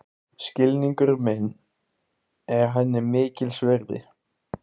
Skilningur minn er henni mikils virði.